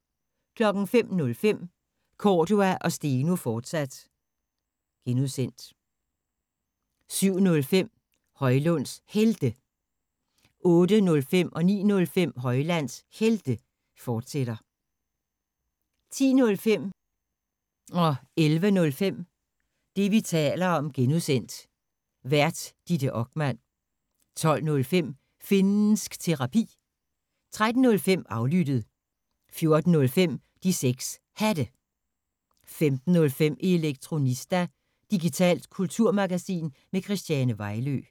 05:05: Cordua & Steno, fortsat (G) 07:05: Højlunds Helte 08:05: Højlunds Helte, fortsat 09:05: Højlunds Helte, fortsat 10:05: Det, vi taler om (G) Vært: Ditte Okman 11:05: Det, vi taler om (G) Vært: Ditte Okman 12:05: Finnsk Terapi 13:05: Aflyttet 14:05: De 6 Hatte 15:05: Elektronista – digitalt kulturmagasin med Christiane Vejlø